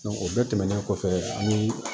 o bɛɛ tɛmɛnen kɔfɛ ani